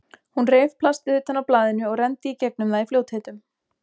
Hún reif plastið utan af blaðinu og renndi í gegnum það í fljótheitum.